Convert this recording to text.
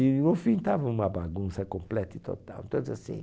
E no fim estava uma bagunça completa e total em todos os